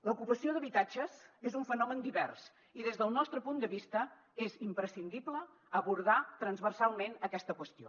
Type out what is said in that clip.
l’ocupació d’habitatges és un fenomen divers i des del nostre punt de vista és imprescindible abordar transversalment aquesta qüestió